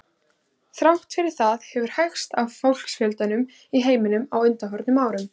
Þrátt fyrir það hefur hægst á fólksfjölgun í heiminum á undanförnum árum.